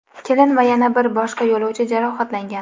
Kelin va yana bir boshqa yo‘lovchi jarohatlangan.